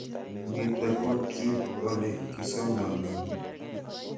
Nitok ko kiip ole kisomandoi